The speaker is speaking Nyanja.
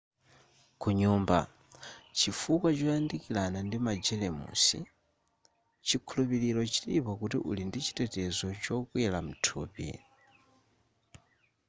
kunyumba chifukwa choyandikirana ndi magelemusi chikhulupiro chilipo kuti uli ndichitetezo chokwera mthupi